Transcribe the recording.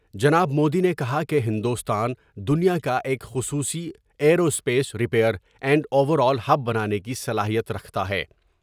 جناب مودی نے کہا کہ ہندوستان دنیا کا ایک خصوصی ائیرو اسپیس ریئر اینڈ اوور آل ہب بنانے کی صلاحیت رکھتا ہے ۔